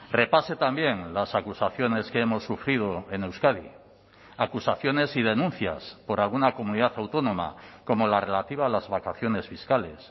repase también las acusaciones que hemos sufrido en euskadi acusaciones y denuncias por alguna comunidad autónoma como la relativa a las vacaciones fiscales